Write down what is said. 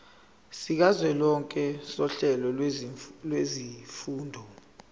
sikazwelonke sohlelo lwezifundo